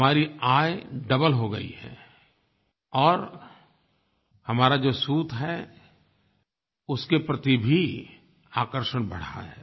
हमारी आय डबल हो गयी है और हमारा जो सूत है उसके प्रति भी आकर्षण बढ़ा है